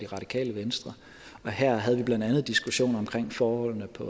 radikale venstre og her havde vi blandt andet diskussioner omkring forholdene på